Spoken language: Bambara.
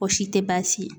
O si tɛ baasi ye